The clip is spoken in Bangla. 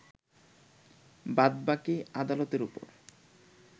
বাদবাকি আদালতের ওপর